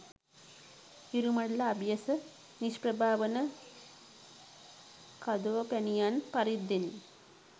හිරුමඬල අභියස නිෂ්ප්‍රභා වන කදෝපැණියන් පරිද්දෙනි